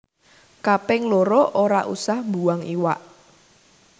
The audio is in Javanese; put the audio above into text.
Kaping loro ora usah mbuang iwak